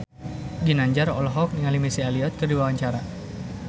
Ginanjar olohok ningali Missy Elliott keur diwawancara